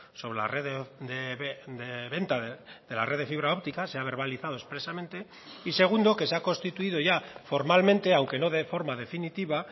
sobre la red de venta de la red de fibra óptica se ha verbalizado expresamente y segundo que se ha constituido ya formalmente aunque no de forma definitiva